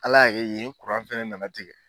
Ala y'a kɛ yen fɛnɛ nana tigɛ